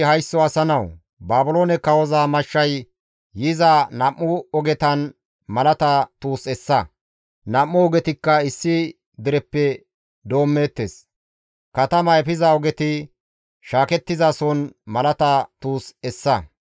«Haysso asa nawu! Baabiloone kawoza mashshay yiza nam7u ogetan malata tuus essa. Nam7u ogetikka issi dereppe doommeettes. Katama efiza ogeti shaakettizason malata tuus essa.